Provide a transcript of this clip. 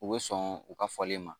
U bɛ sɔn u ka fɔlen ma